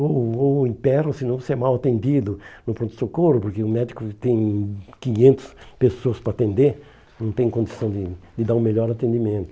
Ou ou ou emperra, ou se não você é mal atendido no pronto-socorro, porque o médico tem quinhentos pessoas para atender, não tem condição de de dar um melhor atendimento.